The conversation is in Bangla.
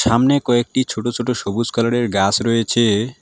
সামনে কয়েকটি ছোট ছোট সবুজ কালারের গাস রয়েছে।